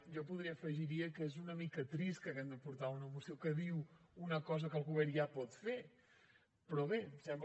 jo poder afegiria que és una mica trist que hàgim de portar una moció que diu una cosa que el govern ja pot fer però bé sembla